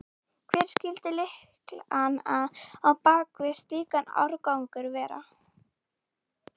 Hver skyldi lykillinn á bak við slíkan árangur vera?